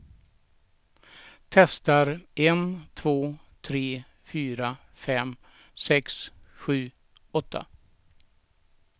Testar en två tre fyra fem sex sju åtta.